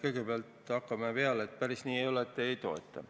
Kõigepealt hakkame peale, et päris nii see ei ole, et riik ei toeta.